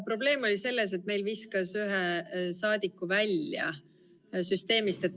Probleem on selles, et meil viskas ühe saadiku süsteemist välja.